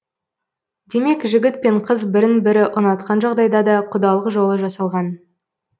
демек жігіт пен қыз бірін бірі ұнатқан жағдайда да құдалық жолы жасалған